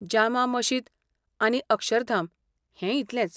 जामा मशीद आनी अक्षरधाम, हें इतलेंच.